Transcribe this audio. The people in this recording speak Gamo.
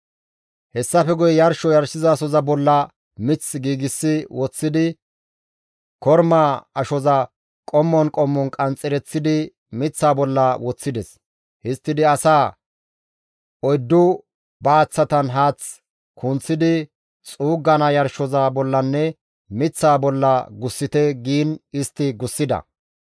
Hessafe guye yarsho yarshizasoza bolla mith giigsi woththidi kormaa ashoza qommon qommon qanxxereththidi miththaa bolla woththides. Histtidi asaa, «Oyddu baaththatan haath kunththidi xuuggana yarshoza bollanne miththaa bolla gussite» giin istti gussida.